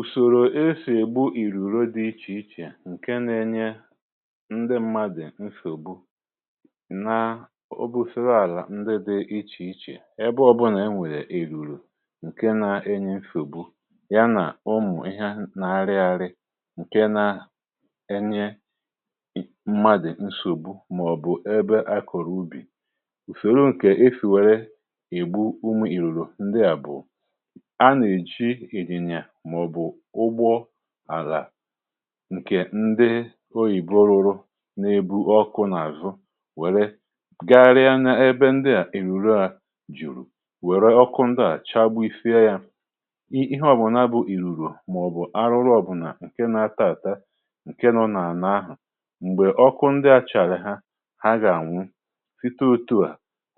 ùsòrò esì ègbu ìrùrù dị iche iche ǹkè na-enye ndị mmadụ̀ nsògbu, nà ọ bụ̀ siri àlà ndị dị iche iche, ebe ọbụnà enwèrè èrùrù ǹkè na-enye nsògbu yanà ụmụ̀ ihe na-arị arị ǹkè na-enye mmadụ̀ nsògbu, màọ̀bụ̀ ebe a kọ̀rọ̀ ubì. Ùsòrò ǹkè e sìwère ègbu ụmụ ìrùrù ndị à bụ̀ àlà ǹkè ndị oyìbo rụrụ n’ebu ọkụ nà-àzụ, um wère garya n’ebe ndị à èrùrù a jùrù, wère ọkụ ndị à chàgbu ifie ya. Ihe ọ̀ bụ̀ nà a bụ̀ ìlùrù màọ̀bụ̀ arụrụ ọ̀bụlà ǹkè na-ata àta ǹkè nọ n’àna ahụ̀, m̀gbè ọkụ ndị a chàrà ha, ha gà-ànwu. Site otu à,